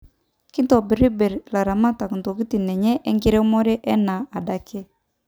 Kitobir bir ilaramatak ntokitin enye enkiremore enaa adake